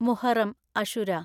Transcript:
Muharram (അശുരാ)